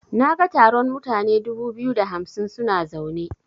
Naga taron mutane dubu biyu da hamsin suna zaune.